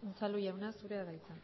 unzalu jauna zurea da hitza